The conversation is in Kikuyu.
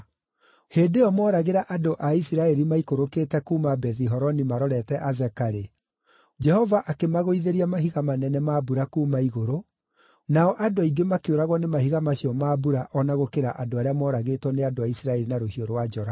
Hĩndĩ ĩyo moragĩra andũ a Isiraeli maikũrũkĩte kuuma Bethi-Horoni marorete Azeka-rĩ, Jehova akĩmagũithĩria mahiga manene ma mbura kuuma igũrũ, nao andũ aingĩ makĩũragwo nĩ mahiga macio ma mbura o na gũkĩra arĩa mooragĩtwo nĩ andũ a Isiraeli na rũhiũ rwa njora.